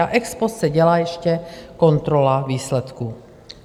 Ex post se dělá ještě kontrola výsledků.